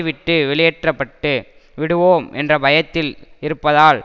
விட்டு வெளியேற்ற பட்டு விடுவோம் என்ற பயத்தில் இருப்பதால்